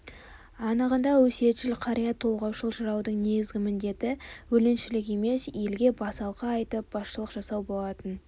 анығында өсиетшіл қария толғаушыл-жыраудың негізгі міндеті өлеңшілік емес елге басалқы айтып басшылық жасау болатын